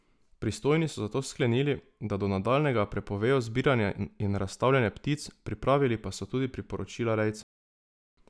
Pristojni so zato sklenili, da do nadaljnjega prepovejo zbiranje in razstavljanje ptic, pripravili pa so tudi priporočila rejcem.